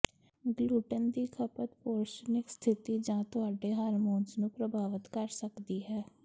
gluten ਦੀ ਖਪਤ ਪੋਰਸ਼ਨਿਕ ਸਥਿਤੀ ਜਾਂ ਤੁਹਾਡੇ ਹਾਰਮੋਨਸ ਨੂੰ ਪ੍ਰਭਾਵਤ ਕਰ ਸਕਦੀ ਹੈ